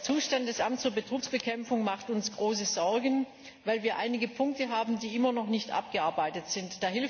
Der Zustand des Amts für Betrugsbekämpfung macht uns große Sorgen, weil wir einige Punkte haben, die immer noch nicht abgearbeitet sind.